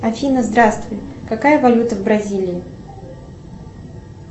афина здравствуй какая валюта в бразилии